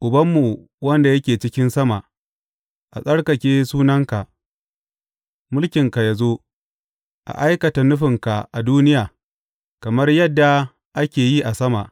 Ubanmu wanda yake cikin sama, a tsarkake sunanka, mulkinka yă zo a aikata nufinka a duniya kamar yadda ake yi a sama.